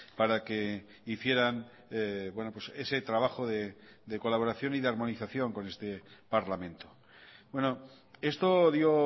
para que hicieran ese trabajo de colaboración y de armonización con este parlamento esto dio